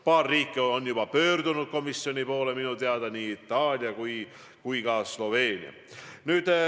Paar riiki on juba pöördunud sellega komisjoni poole, minu teada nii Itaalia kui ka Sloveenia.